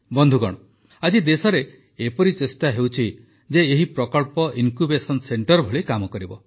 ବନ୍ଧୁଗଣ ଆଜି ଦେଶରେ ଏପରି ଚେଷ୍ଟା ହେଉଛି ଯେ ଏହି ପ୍ରକଳ୍ପ ଇନକ୍ୟୁବେସନ ସେଣ୍ଟର ଭଳି କାମ କରିବ